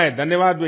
धन्यवाद भैया